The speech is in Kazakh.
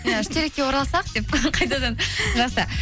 иә үштерекке оралсақ деп қайтадан жақсы